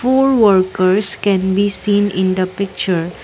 four workers can be seen in the picture.